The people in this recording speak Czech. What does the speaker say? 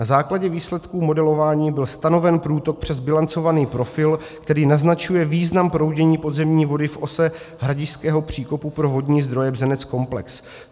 Na základě výsledků modelování byl stanoven průtok přes bilancovaný profil, který naznačuje význam proudění podzemní vody v ose hradišťského příkopu pro vodní zdroje Bzenec-komplex.